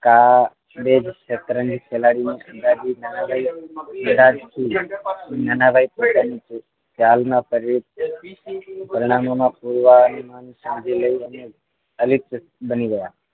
કાલે શતરંજ ખેલાડી